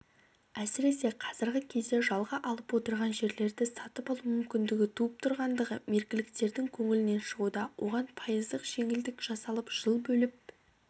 әсіресе қазіргі кезде жалға алып отырған жерлерді сатып алу мүмкіндігі туып тұрғандығы меркіліктердің көңілінен шығуда оған пайыздық жеңілдік жасалып жыл бөліп